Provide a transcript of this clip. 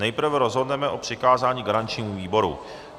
Nejprve rozhodneme o přikázání garančnímu výboru.